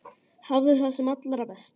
Hafðu það sem allra best.